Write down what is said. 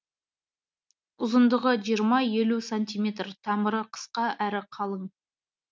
ұзындығы сантиметр тамыры қысқа әрі қалың